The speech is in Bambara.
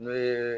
Ne ye